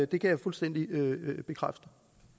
det kan jeg fuldstændig bekræfte